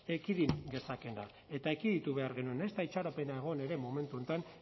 ekidin gezakeena eta ekiditu behar genuen ez da itxaropena egon ere momentu honetan